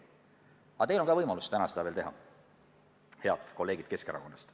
Ning teil on ka võimalus täna seda teha, head kolleegid Keskerakonnast.